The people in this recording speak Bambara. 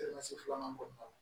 filanan kɔnɔna na